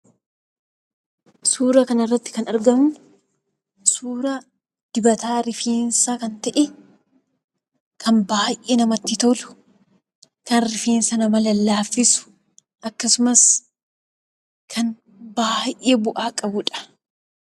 Suura kana irratti kan mul'atu suura dibata rifeensaa kan ta'e baay'ee kan namatti tolu, kan rifeensa namaa laaffisuu fi baay'ee kan namatti toludha.